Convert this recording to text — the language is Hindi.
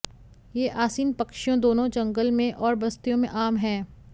ये आसीन पक्षियों दोनों जंगल में और बस्तियों में आम हैं